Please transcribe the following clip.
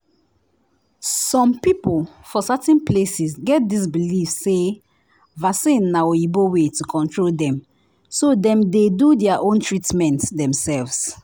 some people for certain places get this believe say vaccine na oyibo way to control dem so dem dey do their own treatment themselves.